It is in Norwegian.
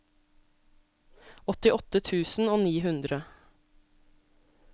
åttiåtte tusen og ni hundre